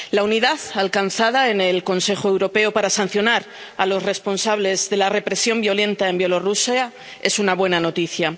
La unidad alcanzada en el Consejo Europeo para sancionar a los responsables de la represión violenta en Bielorrusia es una buena noticia.